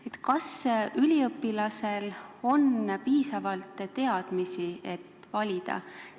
Aga kas üliõpilasel on piisavalt teadmisi, et valida?